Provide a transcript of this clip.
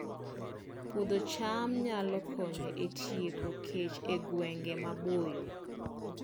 Puodho cham nyalo konyo e tieko kech e gwenge maboyo